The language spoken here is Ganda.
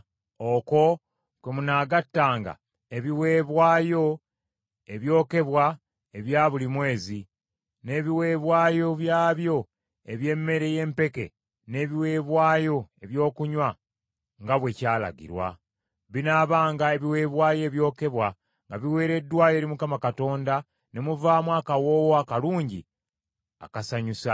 Okwo kwe munaagattanga ebiweebwayo ebyokebwa ebya buli mwezi, n’ebiweebwayo byabyo eby’emmere y’empeke n’ebiweebwayo ebyokunywa, nga bwe kyalagirwa. Binaabanga ebiweebwayo ebyokebwa nga biweereddwayo eri Mukama Katonda ne muvaamu akawoowo akalungi akasanyusa.